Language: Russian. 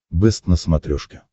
бэст на смотрешке